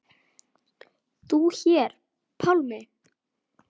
Þú hér, Pálmi.